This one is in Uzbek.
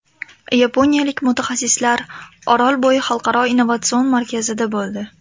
Yaponiyalik mutaxassislar Orolbo‘yi xalqaro innovatsion markazida bo‘ldi.